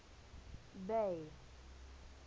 bay